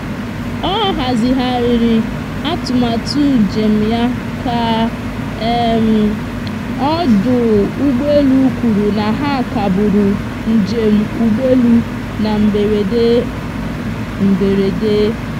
ọ hazigharịrị atụmatụ njem ya ka ọdụ ụgbọelu kwuru na ha kagburu njem ụgbọelu na mberede. mberede.